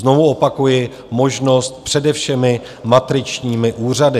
Znovu opakuji: možnost přede všemi matričními úřady.